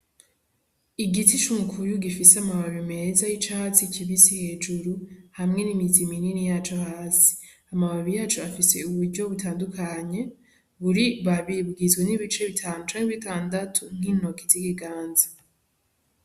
Igiti c'umukubi gifise amababi meza y' icatsi kibisi hejuru hamwe n' imizi minini yaco hasi amababi yaco afise uburyo butandukanye buri babi bugizwe n' ibice bitanu canke bitandatu nk'intoki z'ibiganza.